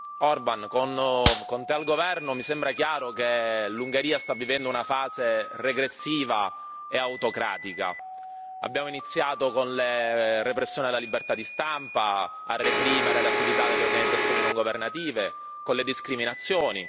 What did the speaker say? Signor Presidente, onorevoli colleghi, Orbán, con te al governo mi sembra chiaro che l'Ungheria sta vivendo una fase regressiva e autocratica. Abbiamo iniziato con la repressione della libertà di stampa, a reprimere le attività delle organizzazioni non governative, con le discriminazioni.